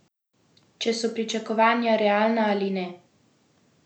Če so pričakovanja realna ali ne?